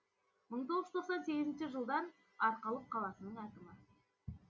мың тоғыз жүз тоқсан сегізінші жылдан арқалық қаласының әкімі